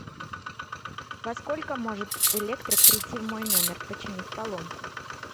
во сколько может электрик прийти в мой номер починить поломку